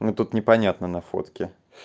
мы тут непонятны на фотке